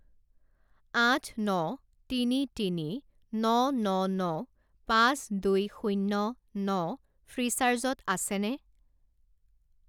আঠ ন তিনি তিনি ন ন ন পাঁচ দুই শূণ্য ন ফ্রীচার্জত আছেনে?